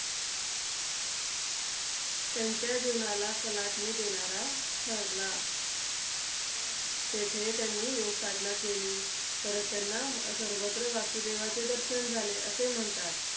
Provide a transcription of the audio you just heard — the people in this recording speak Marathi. त्यांच्या जीवनाला कलाटणी देणारा ठरला. तेथे त्यांनी योगसाधना केली. परत त्यांना सर्वत्र वासुदेवाचे दर्शन झाले, असे म्हणतात.